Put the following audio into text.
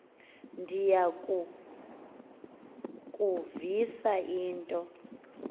ndiya kukuvisa into